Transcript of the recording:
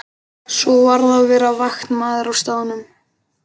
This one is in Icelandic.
Svo varð að vera vaktmaður á staðnum.